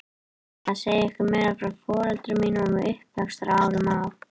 Ég ætla að segja ykkur meira frá foreldrum mínum og uppvaxtarárunum á